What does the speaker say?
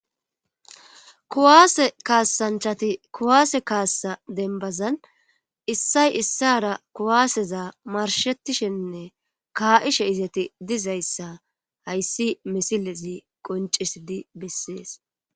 kuwaase kaasanchati kuwaase kaassa denbazan issay issara kuwaaseza marshettishenne kaa7ishe izati dizayssa hayssi misilezi qoncisidi bessees